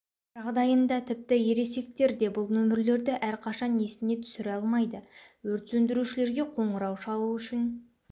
жағдайында тіпті ересектер де бұл нөмірлерді әрқашан есіне түсіре алмайды өрт сөндірушілерге қоңырау шалу үшін